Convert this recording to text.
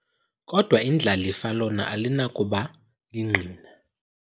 Kodwa indlalifa lona alinakuba lingqina.